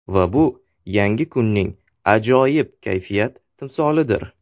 Va bu yangi kunning ajoyib kayfiyat timsolidir.